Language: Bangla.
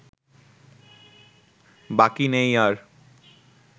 বাকি নেই আর